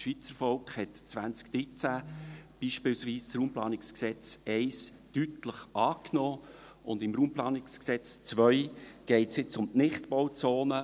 Das Schweizervolk hat 2013 beispielsweise das RPG 1 deutlich angenommen, und im RPG 2 geht es nun um die Nichtbauzonen.